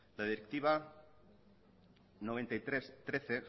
la directiva noventa y tres barra trece